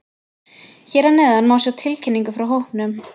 Hér að neðan má sjá tilkynningu frá hópnum.